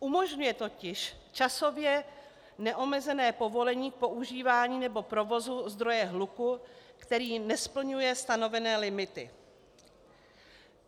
Umožňuje totiž časově neomezené povolení k používání nebo provozu zdroje hluku, který nesplňuje stanovené limity.